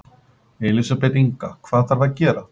Elísabet Inga: Hvað þarf að gera?